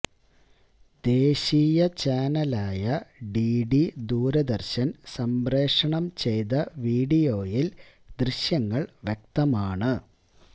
ദേശീയ ചാനലായ ഡിഡി ദൂരദര്ശന് സംപ്രേക്ഷണം ചെയ്ത വീഡിയോയില് ദൃശ്യങ്ങള് വ്യക്തമാണ്